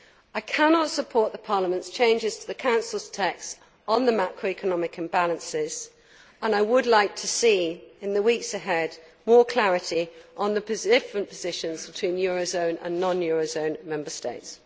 I cannot support Parliament's changes to the Council text on the macroeconomic imbalances and I would like to see in the weeks ahead more clarity on the different positions between euro zone and non euro zone Member States.